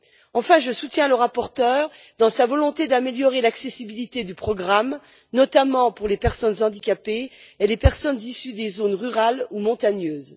Enfin, je soutiens le rapporteur dans sa volonté d'améliorer l'accessibilité du programme, notamment pour les personnes handicapées et les personnes issues des zones rurales ou montagneuses.